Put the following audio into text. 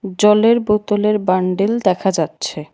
জলের বোতলের বান্ডিল দেখা যাচ্ছে।